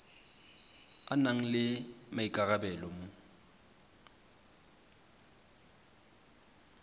a nang le maikarabelo mo